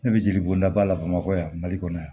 Ne bɛ jeli bɔnda ba la bamakɔ yan mali kɔnɔ yan